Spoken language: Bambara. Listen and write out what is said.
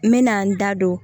N bɛ na n da don